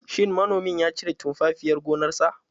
Shin manomin ya cire tumfafiyar gonarsa?